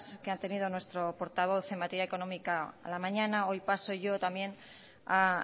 que han tenido nuestro portavoz en materia económica la mañana hoy paso yo también a